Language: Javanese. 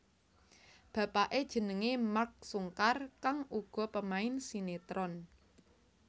Bapaké jenengé Mark Sungkar kang uga pemain sinetron